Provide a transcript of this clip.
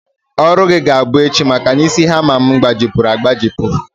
Ọrụ gị ga-abụ echi maka na isi hama m gbajipụrụ agbajipụ